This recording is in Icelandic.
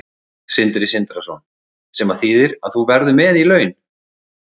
Sindri Sindrason: Sem að þýðir að þú verður með í laun?